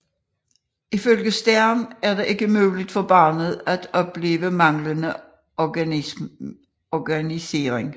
Ifølge Stern er det ikke mulig for barnet at opleve manglende organisering